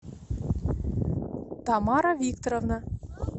тамара викторовна